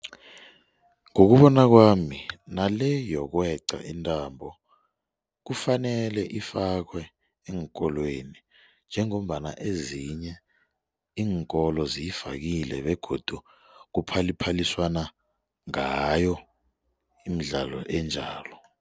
Ngokubona kwami nale yokweqa intambo kufanele ifakwe eenkolweni njengombana ezinye iinkolo ziyifakile begodu kuphaliphaliswana ngayo imidlalo enjalo.